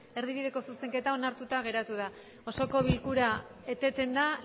erdibideko zuzenketa onartuta geratu da osoko bilkura eteten da